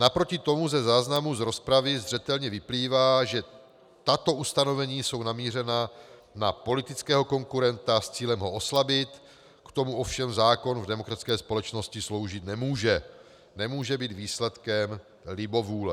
Naproti tomu ze záznamu z rozpravy zřetelně vyplývá, že tato ustanovení jsou namířena na politického konkurenta s cílem ho oslabit, k tomu ovšem zákon v demokratické společnosti sloužit nemůže, nemůže být výsledkem libovůle.